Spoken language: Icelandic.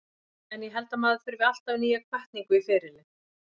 En ég held að maður þurfi alltaf nýja hvatningu í ferilinn.